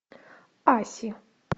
аси